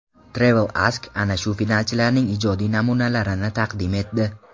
TravelAsk ana shu finalchilarning ijod namunalarini taqdim etdi .